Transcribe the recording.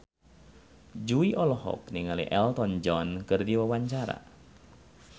Jui olohok ningali Elton John keur diwawancara